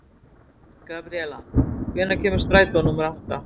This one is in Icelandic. Gabriela, hvenær kemur strætó númer átta?